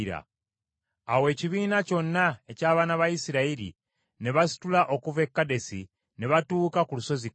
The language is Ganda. Awo ekibiina kyonna eky’abaana ba Isirayiri ne basitula okuva e Kadesi, ne batuuka ku lusozi Koola.